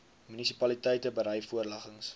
munisipaliteite berei voorleggings